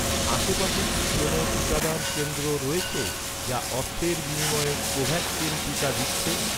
আশেপাশে কি কোনও টিকাদান কেন্দ্র রয়েছে, যা অর্থের বিনিময়ে কোভ্যাক্সিন টিকা দিচ্ছে?